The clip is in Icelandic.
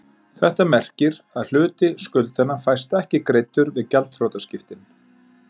Þetta merkir að hluti skuldanna fæst ekki greiddur við gjaldþrotaskiptin.